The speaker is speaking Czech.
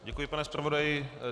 Děkuji, pane zpravodaji.